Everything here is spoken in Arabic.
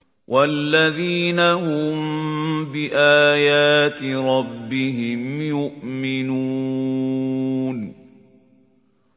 وَالَّذِينَ هُم بِآيَاتِ رَبِّهِمْ يُؤْمِنُونَ